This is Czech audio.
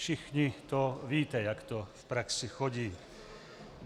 Všichni to víte, jak to v praxi chodí.